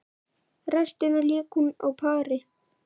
Restina lék hún á pari.